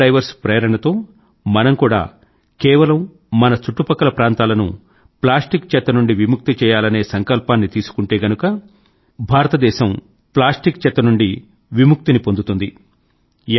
ఈ scuba divers ప్రేరణతో మనం కూడా కేవలం మన చుట్టుపక్కల ప్రాంతాలను ప్లాస్టిక్ చెత్త నుండి విముక్తి చేయాలనే సంకల్పాన్ని తీసుకుంటే గనుక భారతదేశం ప్లాస్టిక్ చెత్త నుండి విముక్తిని పొందగలదు